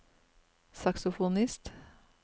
saksofonist